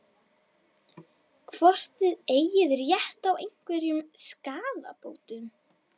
Hvort þið eigið rétt á einhverjum skaðabótum?